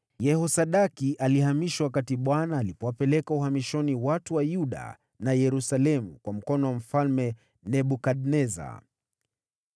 Yehosadaki alihamishwa wakati Bwana aliwapeleka uhamishoni watu wa Yuda na Yerusalemu kwa mkono wa Mfalme Nebukadneza.